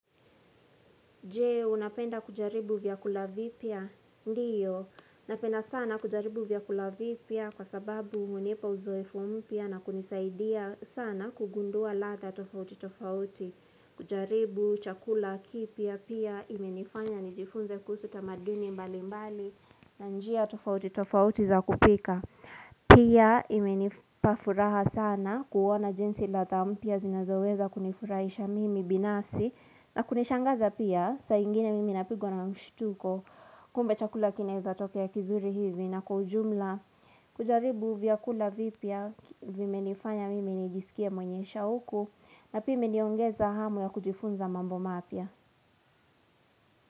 Je, unapenda kujaribu vyakula vipya? Ndiyo, napenda sana kujaribu vyakula vipya kwa sababu hunipa uzoefu mpya na kunisaidia sana kugundua latha tofauti tofauti. Kujaribu chakula kipya pia imenifanya nijifunze kuhusu tamaduni mbali mbali na njia tofauti tofauti za kupika. Pia imenipa furaha sana kuona jinsi latha mpya zinazoweza kunifurahisha mimi binafsi na kunishangaza pia saingine mimi napigwa na mshtuko kumbe chakula kinaeza tokea kizuri hivi na kwa ujumla kujaribu vyakula vipia vimenifanya mimi nijisikia mwenye shauku na pia imeniongeza hamu ya kujifunza mambo mapya.